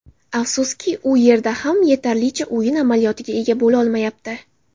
Afsuski, u yerda ham yetarlicha o‘yin amaliyotiga ega bo‘lolmayapti.